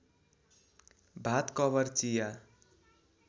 भात कभर चिया